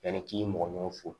Yanni k'i mɔgɔ ɲɔgɔn fo